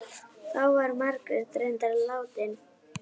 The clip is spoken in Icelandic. Þá var Margrét reyndar látin.